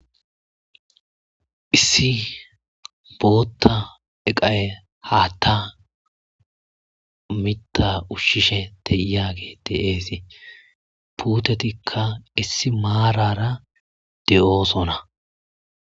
Issi boota iqay haata mitta ushiishe de'iyagey de'esi puutetika issi maarara de'osonna.